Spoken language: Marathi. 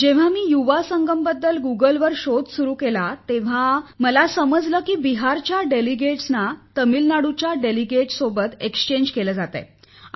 जेव्हा मी युवा संगम बद्दल गुगल वर शोध सुरु केला तेव्हा मला समजले की बिहारच्या प्रतिनिधींना तामिळनाडूच्या प्रतिनिधींसोबत अदलाबदल करायची आहे